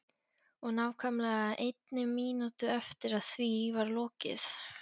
Og nákvæmlega einni mínútu eftir að því var lokið.